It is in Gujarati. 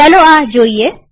ચાલો આ જોઈએ